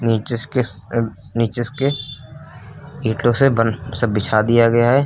नीचे इस किस अह नीचे इसके इंटों से बन सब बिछा दिया गया है।